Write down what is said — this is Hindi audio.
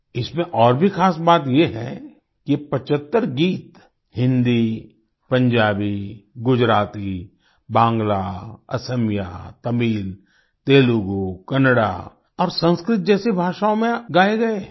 इसमें और भी खास बात ये है कि ये 75 गीत हिन्दी पंजाबी गुजराती बांग्ला असमिया तमिल तेलुगू कन्नड़ा और संस्कृत जैसी भाषाओँ में गाये गए